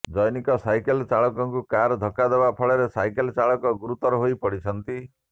ଜନୈକ ସାଇକେଲ ଚାଳକଙ୍କୁ କାର ଧକ୍କା ଦେବା ଫଳରେ ସାଇକେଲ ଚାଳକ ଗୁରୁତର ହୋଇ ପଡିଛନ୍ତି